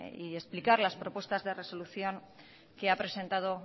y explicar las propuestas de resolución que ha presentado